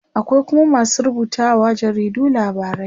akwai Kuma masu rubutawa wa jaridu labarai.